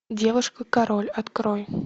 девушка король открой